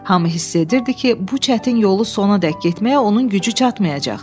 Hamı hiss edirdi ki, bu çətin yolu sonadək getməyə onun gücü çatmayacaq.